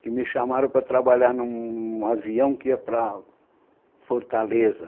que me chamaram para trabalhar num avião que ia para Fortaleza.